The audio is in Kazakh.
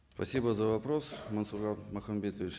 спасибо за вопрос мансур махамбетович